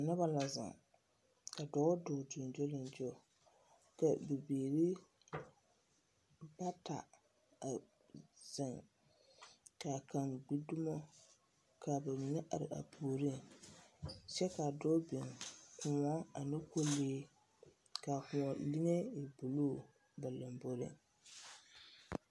Noba la zeŋ, ka dɔɔ dɔɔ gyoŋgyoliŋgyo. Ka bibiiri bata a zeŋ, kaa kaŋ gbi dumo, kaa ba mine are ba puoriŋ, kyɛ kaa dɔɔ biŋ kõɔ ane kolee, kaa kõɔ liŋe e buluu ba lamboriŋ.